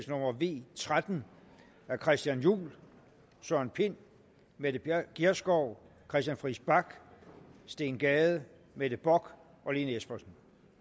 nummer v tretten af christian juhl søren pind mette gjerskov christian friis bach steen gade mette bock og lene espersen